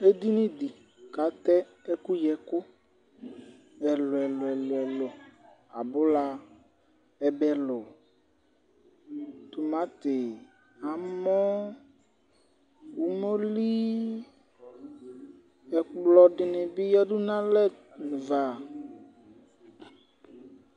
Edini di k'atɛ ɛkuyi ɛku ɛluɛluɛlu, abula, ɛbɛ lu, tumatí, amɔ́, umolí, ɛkplɔdini bi yiadu n'alɛava